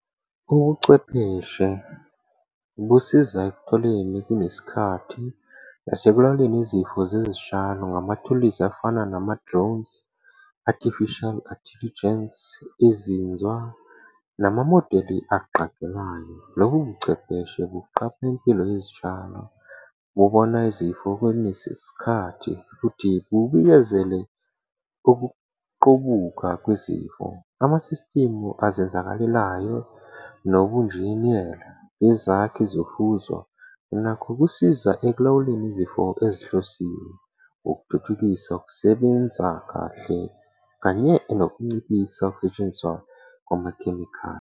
Ubuchwepheshe busiza ekutholeni kunesikhathi nasekulawuleni izifo zezitshalo ngamathuluzi afana nama-drones, artificial , izinzwa, namamodeli aqagelayo. Lobu buchwepheshe buqapha impilo yezitshalo, bubona izifo kunesesikhathi futhi bubikezele ukuqubuka kwezifo. Ama-system azenzakalelayo nobunjiniyela izakhi nakho kusiza ekulawuleni izifo ezihlosile, ukuthuthukisa ukusebenza kahle kanye nokunciphisa ukusetshenziswa kwamakhemikhali.